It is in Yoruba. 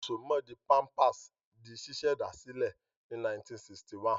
Ìsomọ́ọ̀dí Pampers di ṣíṣẹ̀dá sílẹ̀ ní 1961.